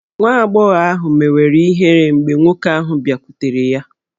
Nwa agbọghọ ahụ mewere ihere mgbe nwoke ahụ bịakwutere ya.